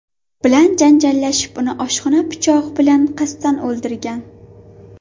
bilan janjallashib, uni oshxona pichog‘i bilan qasddan o‘ldirgan.